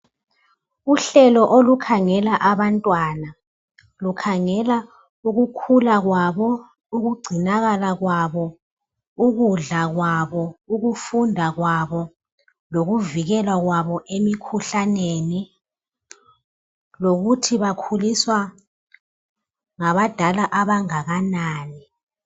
Uhlelo olukhangela abantwana lukhangela ukukhula kwabo, ukugcinakala kwabo, ukudla kwabo, ukufunda kwabo lokuvikelwa kwabo emikhuhlaneni, lokuthi bakhuliswa ngabadala abangakanani.